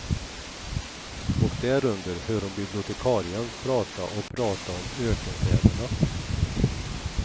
Och därunder hör hon bibliotekarien prata och prata om ökenfäderna.